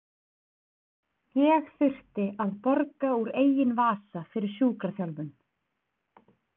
Ég þurfti að borga úr eigin vasa fyrir sjúkraþjálfun.